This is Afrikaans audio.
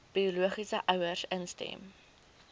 biologiese ouers instem